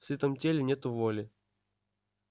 в сытом теле нету воли